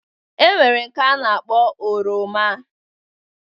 E nwere nke a na-akpọ oroma.